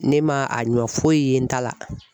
Ne ma a ɲɔ foyi ye n ta la.